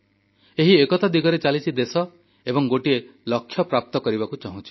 ଏହି ଏକତା ଦିଗରେ ଚାଲିଛି ଦେଶ ଏବଂ ଗୋଟିଏ ଲକ୍ଷ୍ୟ ହାସଲ କରିବାକୁ ଚାହୁଁଛି